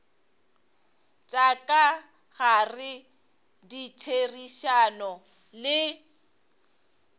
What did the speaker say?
tša ka gare ditherišano le